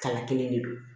Kala kelen de don